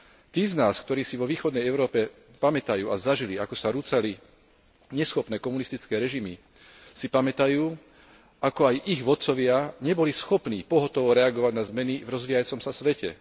Tí z nás, ktorí vo východnej Európe zažili, ako sa rúcali neschopné komunistické režimy, si pamätajú, ako aj ich vodcovia neboli schopní pohotovo reagovať na zmeny v rozvíjajúcom sa svete.